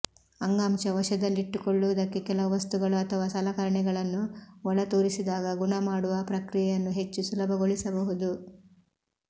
ಅಂಗಾಂಶ ವಶದಲ್ಲಿಟ್ಟುಕೊಳ್ಳುವುದಕ್ಕೆ ಕೆಲವು ವಸ್ತುಗಳು ಅಥವಾ ಸಲಕರಣೆಗಳನ್ನು ಒಳತೂರಿಸಿದಾಗ ಗುಣಮಾಡುವ ಪ್ರಕ್ರಿಯೆಯನ್ನು ಹೆಚ್ಚು ಸುಲಭಗೊಳಿಸಬಹುದು